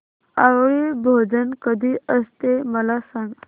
आवळी भोजन कधी असते मला सांग